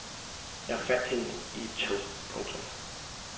Jeg fandt hende i et tog. punktum